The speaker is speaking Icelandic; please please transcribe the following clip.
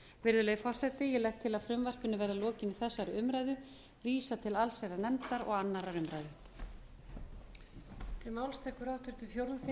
virðulegi forseti ég legg til að frumvarpinu verði að lokinni þessari umræðu vísað til allsherjarnefndar og annarrar umræðu